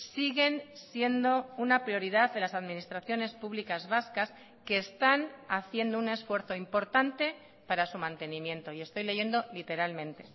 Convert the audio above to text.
siguen siendo una prioridad de las administraciones públicas vascas que están haciendo un esfuerzo importante para su mantenimiento y estoy leyendo literalmente